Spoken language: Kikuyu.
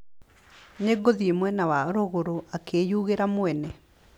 Nĩ ngũthiĩ mwena wa rũgũrũ, akĩyugĩra mwene.